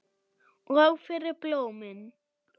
Og fyrir blómin.